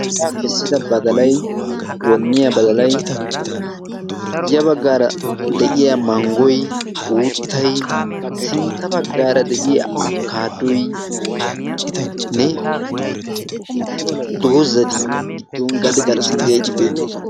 Hayttaa kessida baddalay, wonniyaa baddalay, ya baggaara de'iyaa maanggoy, uuttay sintta baggaara de'iyaa abbokkaaddoynne doozati giddon gade garssan de'iyageeti beettoosona.